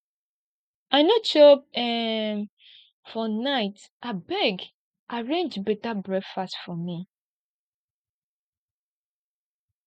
i no chop um for night abeg arrange beta breakfast for me